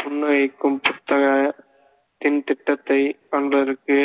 புன்னகைக்கும் புத்தக ~த்தின் திட்டத்தைக் காண்பதற்கு